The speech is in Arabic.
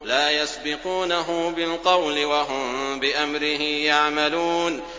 لَا يَسْبِقُونَهُ بِالْقَوْلِ وَهُم بِأَمْرِهِ يَعْمَلُونَ